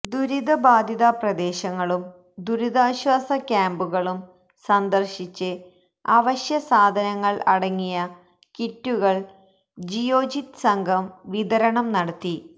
ദുരിതബാധിത പ്രദേശങ്ങളും ദുരിതാശ്വാസ ക്യാമ്പുകളും സന്ദര്ശിച്ച് അവശ്യസാധനങ്ങള് അടങ്ങിയ കിറ്റുകള് ജിയോജിത് സംഘം വിതരണം നടത്തി